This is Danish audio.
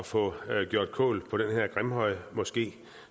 få gjort kål på den her grimhøjmoské